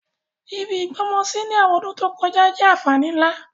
Ibi ìgbọ́mọsí ni àwọn ọdún to kojá jẹ́ ànfàní nlá.